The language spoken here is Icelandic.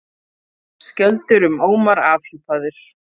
Skjöldur um Ómar afhjúpaður